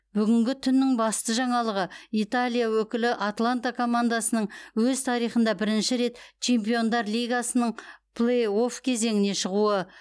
бүгінгі түннің басты жаңалығы италия өкілі атланта командасының өз тарихында бірінші рет чемпиондар лигасының плей офф кезеңіне шығуы